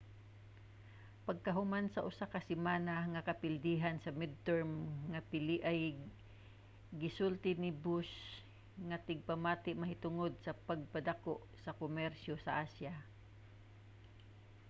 pagkahuman sa usa ka semana nga kapildihan sa midterm nga piliay gisultihan ni bush ang tigpamati mahitungod sa pagpadako sa komersyo sa asya